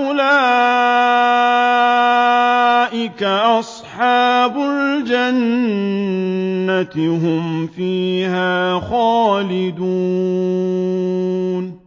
أُولَٰئِكَ أَصْحَابُ الْجَنَّةِ ۖ هُمْ فِيهَا خَالِدُونَ